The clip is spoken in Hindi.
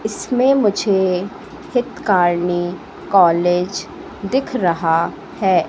इसमें मुझे हित कारनी कॉलेज दिख रहा है।